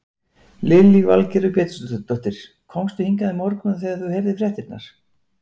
Lillý Valgerður Pétursdóttir: Komstu hingað í morgun þegar þú heyrðir fréttirnar?